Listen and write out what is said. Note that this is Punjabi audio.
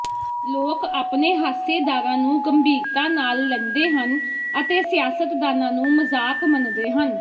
ਲੋਕ ਆਪਣੇ ਹਾਸੇਦਾਰਾਂ ਨੂੰ ਗੰਭੀਰਤਾ ਨਾਲ ਲੈਂਦੇ ਹਨ ਅਤੇ ਸਿਆਸਤਦਾਨਾਂ ਨੂੰ ਮਜ਼ਾਕ ਮੰਨਦੇ ਹਨ